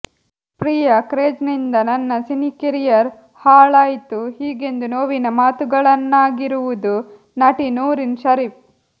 ಪ್ರಿಯಾ ಕ್ರೇಜ್ನಿಂದ ನನ್ನ ಸಿನಿಕೆರಿಯರ್ ಹಾಳಾಯ್ತು ಹೀಗೆಂದು ನೋವಿನ ಮಾತುಗಳನ್ನಾಗಿರುವುದು ನಟಿ ನೂರಿನ್ ಷರೀಫ್